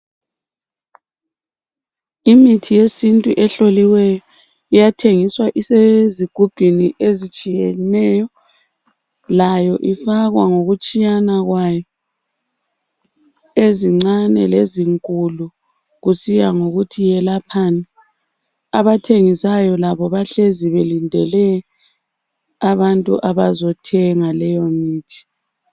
Imithi yesintu ehloliweyo iyathengiswa isezigubhini ezitshiyeneyo layo ifakwa ngokutshiyana kwayo ezincane lezinkulu kusiya ngokuthi yelaphani abathengisayo labo bahlezi belindile abantu abazothenga leyo mithi